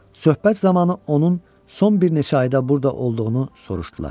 Söhbət zamanı onun son bir neçə ayda burda olduğunu soruşdular.